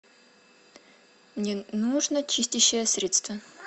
мне нужно чистящее средство